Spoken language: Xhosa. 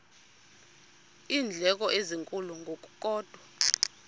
iindleko ezinkulu ngokukodwa